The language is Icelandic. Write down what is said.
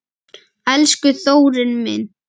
Elsku Þórir minn.